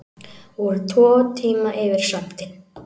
Voru tvo tíma yfir sandinn